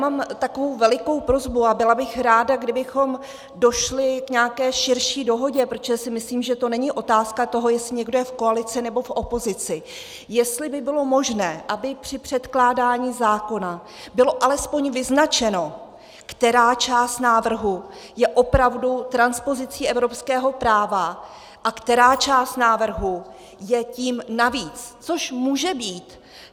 Mám takovou velikou prosbu a byla bych ráda, kdybychom došli k nějaké širší dohodě, protože si myslím, že to není otázka toho, jestli někdo je v koalici nebo v opozici, jestli by bylo možné, aby při předkládání zákona bylo alespoň vyznačeno, která část návrhu je opravdu transpozicí evropského práva a která část návrhu je tím navíc, což může být.